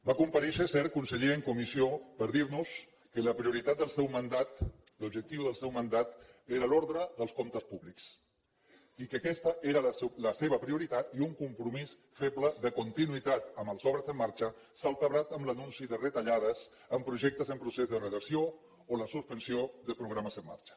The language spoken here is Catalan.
va comparèixer cert conseller en comissió per dir nos que la prioritat del seu mandat l’objectiu del seu mandat era l’ordre dels comptes públics i que aquesta era la seva prioritat i un compromís feble de continuïtat amb les obres en marxa salpebrat amb l’anunci de retallades amb projectes en procés de redacció o la suspensió de programes en marxa